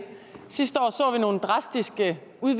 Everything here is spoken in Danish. synes jeg